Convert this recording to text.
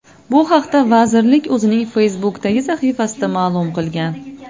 Bu haqda Vazirlik o‘zining Facebook’dagi sahifasida ma’lum qilgan .